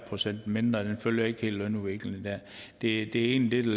procent mindre den følger ikke helt lønudviklingen det er egentlig det